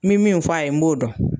Min min fɔ a ye n b'o dɔn